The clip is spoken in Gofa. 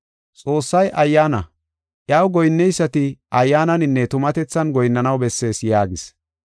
Xoossay Ayyaana; iyaw goyinneysati Ayyaananinne tumatethan goyinnanaw bessees” yaagis.